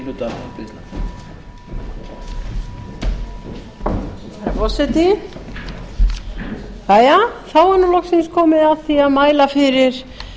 herra forseti þá er nú loksins komið að því að mæla fyrir